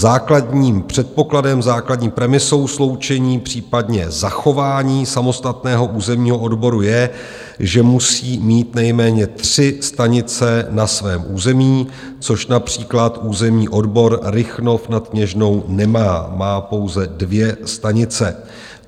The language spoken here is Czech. Základním předpokladem, základní premisou sloučení, případně zachování samostatného územního odboru je, že musí mít nejméně tři stanice na svém území, což například územní odbor Rychnov nad Kněžnou nemá, má pouze dvě stanice.